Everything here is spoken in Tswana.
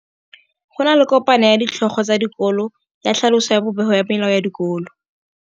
Go na le kopanô ya ditlhogo tsa dikolo ya tlhaloso ya popêgô ya melao ya dikolo.